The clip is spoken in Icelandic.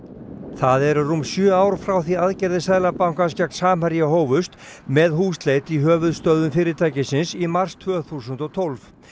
það eru rúm sjö ár frá því aðgerðir Seðlabankans gegn Samherja hófust með húsleit í höfuðstöðvum fyrirtækisins í mars tvö þúsund og tólf